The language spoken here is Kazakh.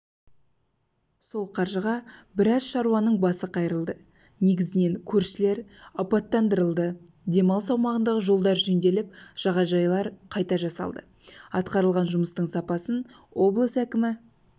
сол қаржыға біраз шаруаның басы қайырылды негізінен көшелер абаттандырылды демалыс аумағындағы жолдар жөнделіп жағажайлар қайта жасалды атқарылған жұмыстың сапасын облыс әкімі